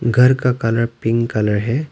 घर का colour pink colour है।